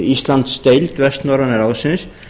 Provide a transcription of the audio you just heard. íslandsdeild vestnorræna ráðsins